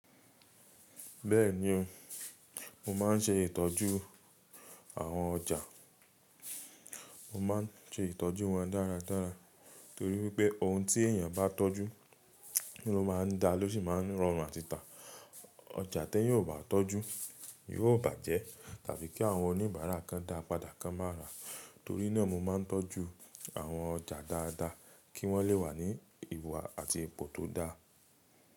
Bẹ́ẹ̀ni o, mo má n ṣe ìtọ́jú àwọn ọjà, mo ma n ṣe ìtọ́jú wọn dáradára torí wípẹ́ ohun tí èeyàn bá tọ́jú ló maa n da ló sì ma n rọrùn àti tà. Ọjà t'eẹ́yan óò bà á tọ́jú yóò bàjẹ́ tàbí kí àwọn oníbàárà kan dáa padà kan má rá. Torí náà mo ma n tọ́jú àwọn ọjà dáadáa kí wọ́n le wà ní ìwà àti ipò tó dáa.